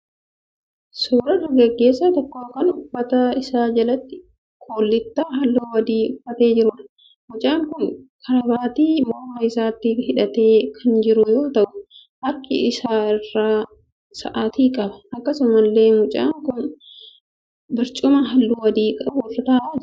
Suuraa dargaggeessa tokko kan uffata isaa jalatti kullittaa halluu adii uffatee jiruudha. Mucaan kun karaabaatii morma isaatti hidhatee kan jiru yoo ta'u harka isaa irraa sa'aatii qaba. Akkasumallee mucaan kun barcuma halluu adii qabu irra ta'aa jira.